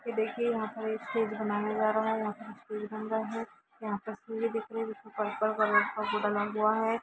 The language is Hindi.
ये देखिए यहां पर एक स्टेज बनाया जा रहा है यहां पर स्टेज बन रहा है यहां पर सुर्य दिख रहे है यहां पे पड़ पर कंप्यूटर हुआ है।